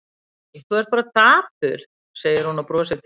Hæ, þú ert bara dapur, segir hún og brosir til hans.